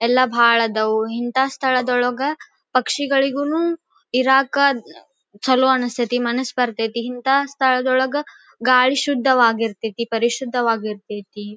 ಎಲ್ಲ ಬಾಲ ಇದಾವು ಇಂತ ಸ್ಥಳ ಒಳಗ ಪಕ್ಷಿಗಳಿಗೂನೂ ಇರಕ ಚಲೋ ಅನಸ್ತತಿ ಮನಸ್ ಬರ್ತತಿ ಇಂತ ಸ್ಥಳದೊಳಗ ಗಾಳಿ ಶುದ್ಧವಾಗಿರ್ತತಿ ಪರಿಶುದ್ಧ ವಾಗಿರ್ತತಿ.